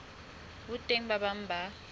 ho teng ba bang ba